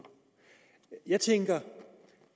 jeg tænker